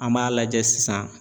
An b'a lajɛ sisan